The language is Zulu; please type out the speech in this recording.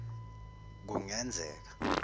kungenzeka